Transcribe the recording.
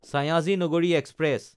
Sayaji Nagari express